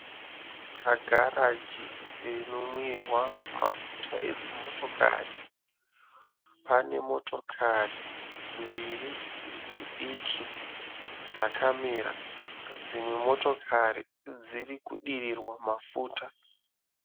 Pagaragi rwinonwira mafuta edzimotokari. Pane motokari mbiri dzidiki dzakamira. Dzimwe motokari dziri kudirirwa mafuta.